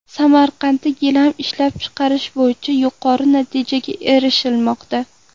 Samarqandda gilam ishlab chiqarish bo‘yicha yuqori natijalarga erishilmoqda.